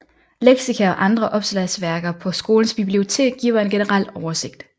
Leksika og andre opslagsværker på skolens bibliotek giver en generel oversigt